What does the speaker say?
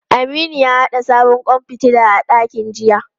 Aminu ya haɗa sabon kwan fitila a dakin jiya.